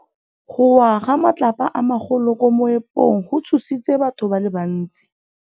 Go wa ga matlapa a magolo ko moepong go tshositse batho ba le bantsi.